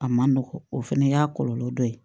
A ma nɔgɔn o fana y'a kɔlɔlɔ dɔ ye